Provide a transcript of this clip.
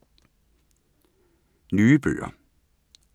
Nye bøger